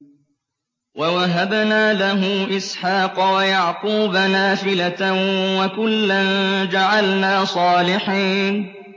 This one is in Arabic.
وَوَهَبْنَا لَهُ إِسْحَاقَ وَيَعْقُوبَ نَافِلَةً ۖ وَكُلًّا جَعَلْنَا صَالِحِينَ